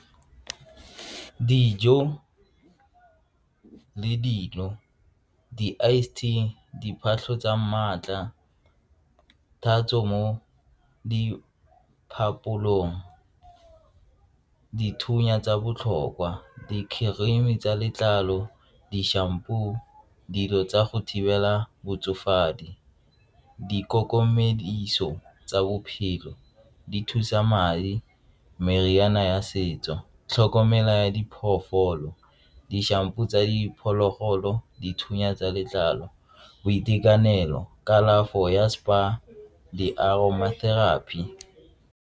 Dijo le dino, di-ice tea, diphatlho tsa maatla, tatso mo diphaposing dithunya tsa botlhokwa di-cream tsa letlalo, di-shampoo, dilo tsa go thibela botsofadi, di tsa bophelo di thusa madi meriana ya setso tlhokomela ya diphoofolo di-shampoo tsa diphologolo dithunya tsa letlalo boitekanelo kalafo ya spa, di-aroma therapy.